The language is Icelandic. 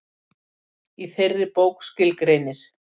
Í þeirri bók skilgreinir